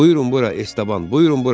Buyurun bura Estaban, buyurun bura.